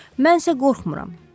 Mən isə qorxmuram.